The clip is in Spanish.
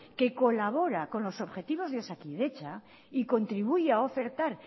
que colabora con los objetivos de osakidetza y contribuye a ofertar